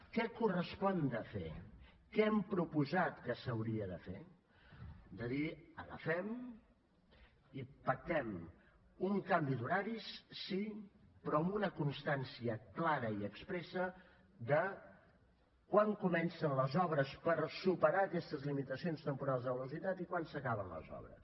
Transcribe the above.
què hi correspon fer què hem proposat que s’hauria de fer de dir agafem i pactem un canvi d’horaris sí però amb una constància clara i expressa de quan comencen les obres per superar aquestes limitacions temporals de velocitat i quan s’acaben les obres